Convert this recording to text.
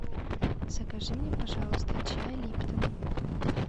закажи мне пожалуйста чай липтон